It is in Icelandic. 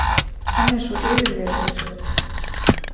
Hann er svo yfirvegaður.